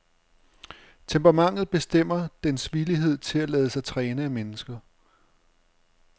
Temperamentet bestemmer dens villighed til at lade sig træne af mennesker.